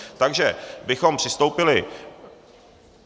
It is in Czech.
Takže bychom přistoupili...